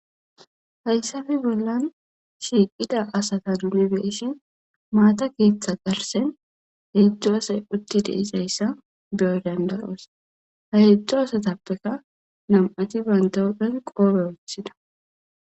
Hayisape bollan shiiqida asata nune beeshin maata keeththa garsen he zu asay utti deisayssa beyo dandaroos ha hedzdzo asatappeka na'mati banta huphe qodhe wothida